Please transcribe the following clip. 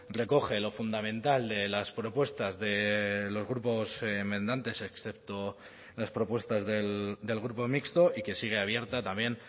recoge lo fundamental de las propuestas de los grupos enmendantes excepto las propuestas del grupo mixto y que sigue abierta también